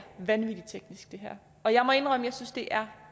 vanvittig teknisk og jeg må indrømme at jeg synes det er